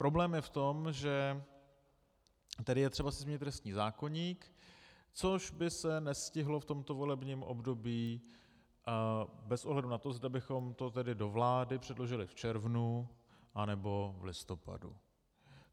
Problém je v tom, že tady je třeba si změnit trestní zákoník, což by se nestihlo v tomto volebním období bez ohledu na to, zda bychom to tedy do vlády předložili v červnu, anebo v listopadu.